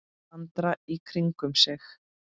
Andra í kringum sig.